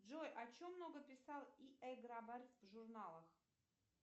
джой о чем много писал и э грабарь в журналах